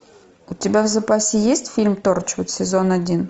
у тебя в запасе есть фильм торчвуд сезон один